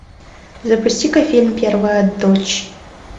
запусти ка фильм первая дочь